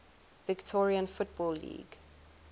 victorian football league